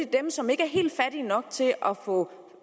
dem som ikke er helt fattige nok til at få